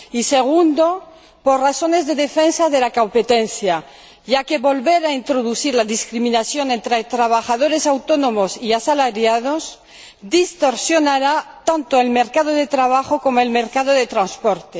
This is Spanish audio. Y, segundo, por razones de defensa de la competencia, ya que volver a introducir la discriminación entre trabajadores autónomos y asalariados distorsionará tanto el mercado de trabajo como el mercado de transporte.